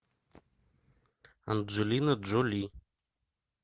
анджелина джоли